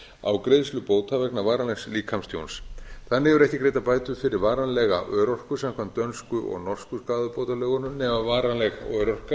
á greiðslu bóta vegna varanlegs líkamstjóns þannig eru ekki greiddar bætur fyrir varanlega örorku samkvæmt dönsku og norsku skaðabótalögunum nema varanleg örorka